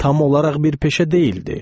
Tam olaraq bir peşə deyildi.